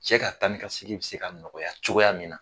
Cɛ ka taa ni ka segin bɛ se ka nɔgɔya cogoya min na.